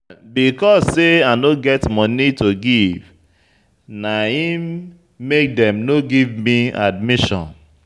Because sey I no get moni to give na im make dem no give me admission.